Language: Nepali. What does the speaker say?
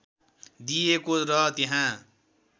दिइएको र त्यहाँ